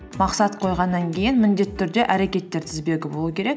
мақсат қойғаннан кейін міндетті түрде әрекеттер тізбегі болу керек